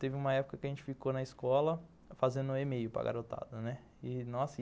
Teve uma época que a gente ficou na escola fazendo e-mail para garotada, né, e nossa...